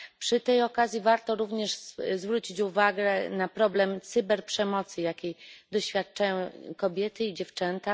Przy tej okazji warto również zwrócić uwagę na problem cyberprzemocy, jakiej doświadczają kobiety i dziewczęta.